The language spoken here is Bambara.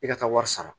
E ka taa wari sara